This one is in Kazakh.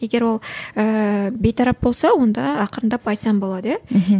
егер ол ііі бейтарап болса онда ақырындап айтсаң болады иә мхм